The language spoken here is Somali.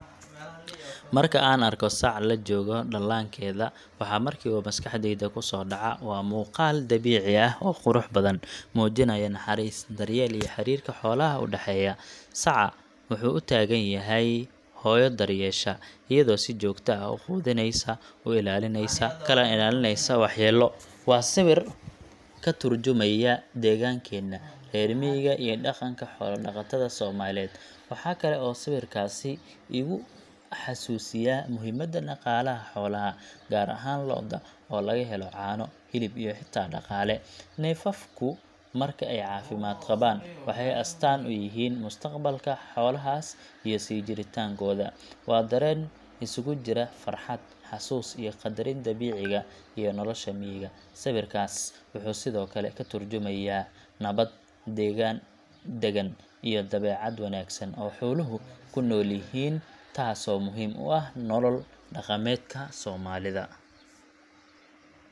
Marka aan arko sac la jooga dhallaankeeda, waxa markiiba maskaxdayda ku soo dhaca waa muuqaal dabiici ah oo qurux badan, muujinaya naxariis, daryeel iyo xiriirka xoolaha u dhexeeya. Saca waxay u taagan tahay hooyo daryeesha, iyadoo si joogto ah u quudineysa, u ilaalineysa kana ilaalineysa waxyeello. Waa sawir ka turjumaya deegaankeena reer miyiga iyo dhaqanka xoolo-dhaqatada Soomaaliyeed. Waxa kale oo sawirkaasi igu xasuusiyaa muhiimada dhaqaalaha xoolaha, gaar ahaan lo’da, oo laga helo caano, hilib iyo xitaa dhaqaale. Neefafku marka ay caafimaad qabaan waxay astaan u yihiin mustaqbalka xoolahaas iyo sii jiritaankooda. Waa dareen isugu jira farxad, xasuus, iyo qadarin dabiiciga iyo nolosha miyiga. Sawirkaas wuxuu sidoo kale ka turjumayaa nabad, degaan daggan, iyo dabeecad wanaagsan oo xooluhu ku noolyihiin, taasoo muhiim u ah nolol-dhaqameedka Soomaalida.